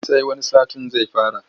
Sai wani satin zai fara.